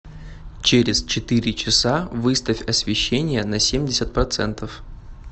через четыре часа выставь освещение на семьдесят процентов